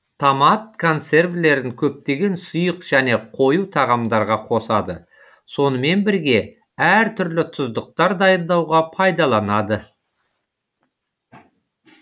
томат консервілерін көптеген сұйық және қою тағамдарға қосады сонымен бірге әр түрлі тұздықтар дайындауға пайдаланады